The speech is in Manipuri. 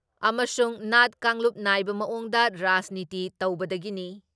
ꯑꯃꯁꯨꯡ ꯅꯥꯠ ꯀꯥꯡꯂꯨꯞ ꯅꯥꯏꯕ ꯃꯑꯣꯡꯗ ꯔꯥꯖꯅꯤꯇꯤ ꯇꯧꯕꯗꯒꯤꯅꯤ ꯫